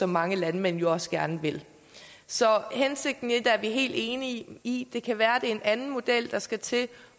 mange landmænd jo også gerne vil så hensigten i det er vi helt enige i det kan være en anden model der skal til